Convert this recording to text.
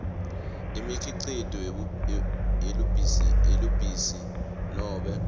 imikhicito yelubisi nobe